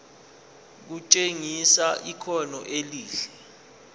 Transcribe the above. kutshengisa ikhono elihle